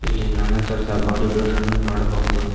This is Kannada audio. ಇಲ್ಲಿ ನಾನಾತರದ ಬಾಡಿಬಿಲ್ದೆರ್ ಅನ್ನು ಮಾಡಬಹುದು.